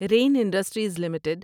rain Industries limited